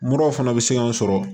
Muraw fana bɛ se k'an sɔrɔ